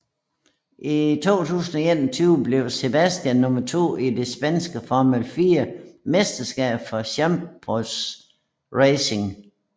I 2021 blev Sebastian nummer 2 i det Spanske Formel 4 Mesterskab for Campos Racing